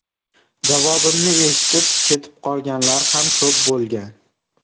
Javobimni eshitib, ketib qolganlar ham ko‘p bo‘lgan.